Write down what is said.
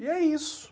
E é isso.